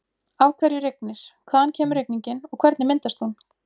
Af hverju rignir, hvaðan kemur rigningin og hvernig myndast hún?